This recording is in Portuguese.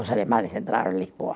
Os alemães entraram em Lisboa.